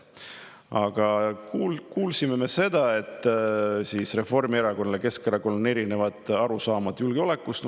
Aga kuulsime me seda, et Reformierakonnal ja Keskerakonnal on erinevad arusaamad julgeolekust.